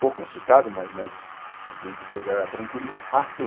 Pouco assustado, mas mas bem depois era tranquilizado.